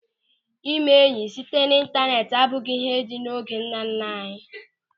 Ịme enyị site n'ịntaneti abụghị ịhe dị oge ndị nnanna anyị.